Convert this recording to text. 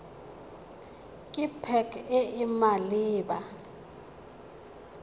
ke pac e e maleba